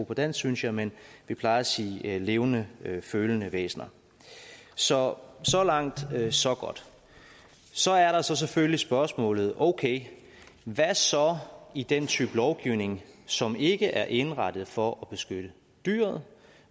på dansk synes jeg men vi plejer at sige levende følende væsener så så langt så godt så er der selvfølgelig spørgsmålet okay hvad så i den type lovgivning som ikke er indrettet for at beskytte dyret